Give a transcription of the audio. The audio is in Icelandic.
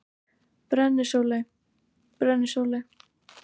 Brennisóley: Brennisóley.